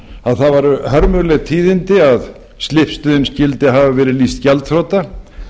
að það voru hörmuleg tíðindi að slippstöðin skyldi hafa verið lýst gjaldþrota